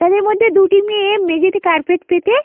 তাদের মধ্যে দুটি মেয়ে মেঝের মধ্যে কারপেট পেতে--